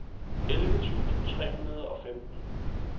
elleve tusind tre hundrede og femten